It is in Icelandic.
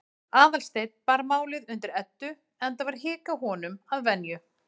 Aðalsteinn bar málið undir Eddu, enda var hik á honum að venju.